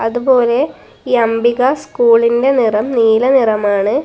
അതുപോലെ ഈ അംബിക സ്കൂളിന്റെ നിറം നീല നിറമാണ്.